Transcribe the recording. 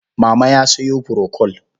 Mama ya sayo furokol.